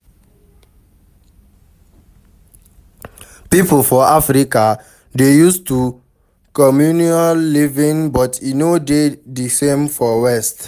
Pipo for Africa dey used to communal living but e no dey di same for west